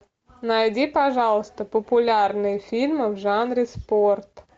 найди пожалуйста популярные фильмы в жанре спорт